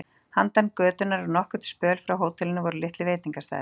Handan götunnar og nokkurn spöl frá hótelinu voru litlir veitingastaðir.